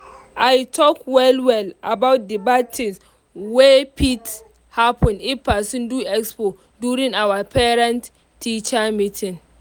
i talk well well about the bad things wey fit happen if person do expo during our parent-teacher meeting.